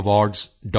gallantryawards